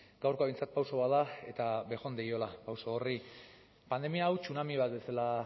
gaurkoa behintzat pauso bat da eta bejondeiola pauso horri pandemia hau tsunami bat bezala